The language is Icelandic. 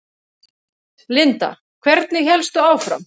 Linda: Hvernig hélstu áfram?